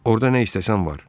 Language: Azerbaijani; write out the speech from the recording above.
Orda nə istəsən var.